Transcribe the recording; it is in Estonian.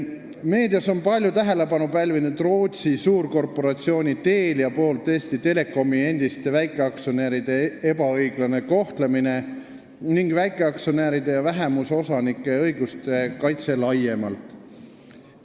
Meedias on palju tähelepanu pälvinud see, et Rootsi suurkorporatsioon Telia on Eesti Telekomi endisi väikeaktsionäre ebaõiglaselt kohelnud, ning ka väikeaktsionäride ja vähemusosanike õiguste kaitse laiemalt.